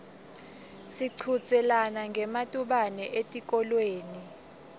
sichudzelana ngematubane etikolweni